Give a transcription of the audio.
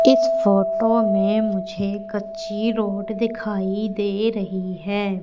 इस फोटो में मुझे एक अच्छी रोड दिखाई दे रही हैं।